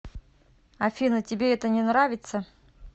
афина тебе это не нравится